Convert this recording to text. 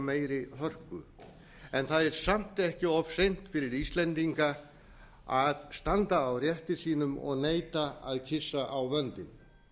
meiri hörku en það er samt ekki of seint fyrir íslendinga að standa á rétti sínum og neita að kyssa á vöndinn